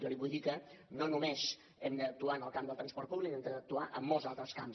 jo li vull dir que no només hem d’actuar en el camp del transport públic hem d’actuar en molts altres camps